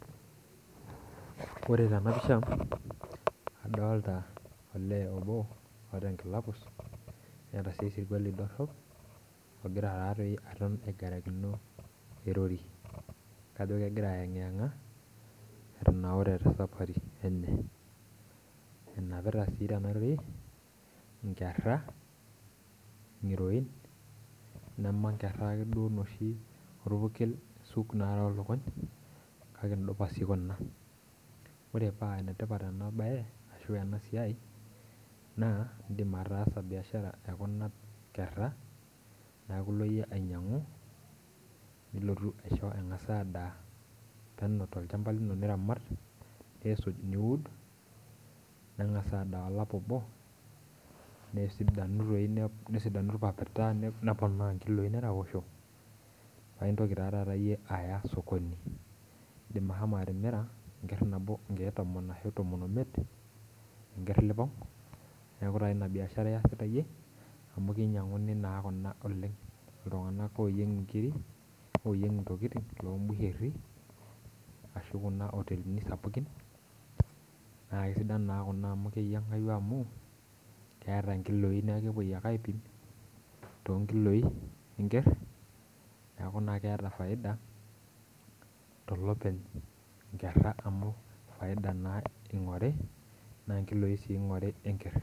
Ore tena pisha adolta olee obo oota enkila pus neeta sii esirkuali dorrop ogira taatoi aton aigarakino erori kajo kegira ayeng'iyeng'a etanaure te sapari enye enapita sii tena rori inkerra ng'roin nema nkerra ake duo inoshi orpurkel isuk narook lukuny kake indupasi kuna ore paa enetipat ena baye ashu ena siai naa indim ataasa biashara ekuna kerra niaku ilo iyie ainyiang'u nilotu aisho eng'as adaa peno tolchamba lino niramat nisuj niud neng'as adaa olapa obo nesidanu toi nesidanu orpapita neponaa inkiloi neraposho paintoki taa taata iyie aya sokoni indim ahomo atimira enkerr nabo inkeek tomon ashu tomon omiet enkerr nipong niaku taa ina biashara iyasita iyie amu keinyiang'uni naa kuna oleng iltung'anak oyieng inkiri oyieng intokiting lombuherri ashu kuna otelini sapukin naa kisidan naa kuna amu keyiang'ai amu keeta inkiloi nieku kepuoi ake aipim tonkiloi enkerr niaku naa keeta faida tolopeny inkerra amu faida naa ing'ori naa inkiloi sii ing'ori enkerr.